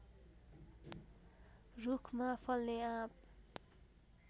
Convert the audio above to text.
रूखमा फल्ने आँप